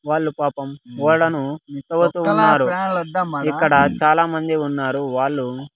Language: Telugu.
వాళ్ళు పాపం ఓడను ఇక్కడ చాలామంది ఉన్నారు వాళ్ళు.